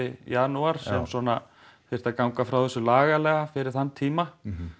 janúar sem svona þyrfti að ganga frá þessu lagalega fyrir þann tíma